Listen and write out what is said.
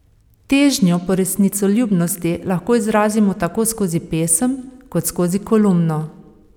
Težnjo po resnicoljubnosti lahko izrazimo tako skozi pesem kot skozi kolumno.